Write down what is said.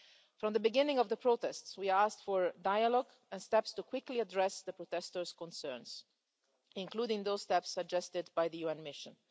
From the beginning of the protests we have been asking for dialogue and steps to quickly address the protesters' concerns, including those steps suggested by the UN mission.